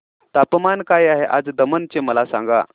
तापमान काय आहे आज दमण चे मला सांगा